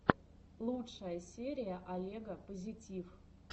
лучшая серия олега позитив